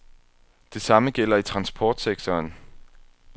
Det samme gælder i transportsektoren.